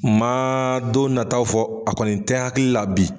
Ma don nataw fɔ, a kɔni tɛ hakilila bi.